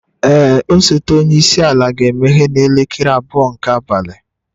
Ee, osote onye isi ala ga-emeghe n'elekere abụọ nke abalị.